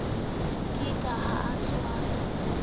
ke ke ha o tswela